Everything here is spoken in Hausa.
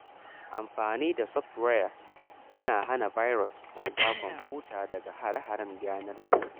Amfani da software mai hana virus yana kare kwamfuta daga hare-haren yanar gizo.